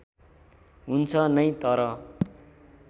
हुन्छ नै तर